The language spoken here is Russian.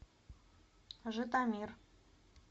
житомир